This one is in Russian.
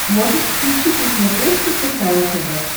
можешь включить на смотрешке кхл тв